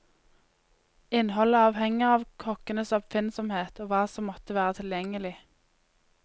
Innholdet avhenger av kokkens oppfinnsomhet, og hva som måtte være tilgjengelig.